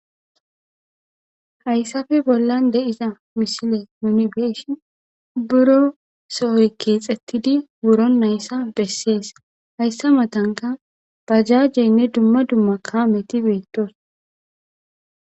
hayssafe bollan de iza misile nunibeeshi buro sohoykkeexettidi buro nayssa bessees hayssa matanka pajaajjeynne dumma dumma kaameti beettos